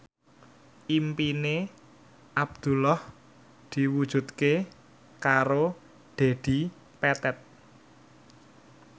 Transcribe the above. impine Abdullah diwujudke karo Dedi Petet